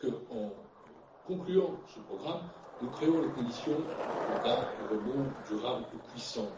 En concluant ce programme, nous créons les conditions d'un rebond durable et puissant.